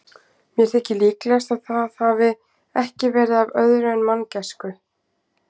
Mér þykir líklegast, að það hafi ekki verið af öðru en manngæsku.